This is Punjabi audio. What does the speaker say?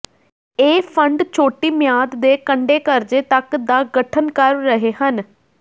ਇਹ ਫੰਡ ਛੋਟੀ ਮਿਆਦ ਦੇ ਕੰਢੇ ਕਰਜ਼ੇ ਤੱਕ ਦਾ ਗਠਨ ਕਰ ਰਹੇ ਹਨ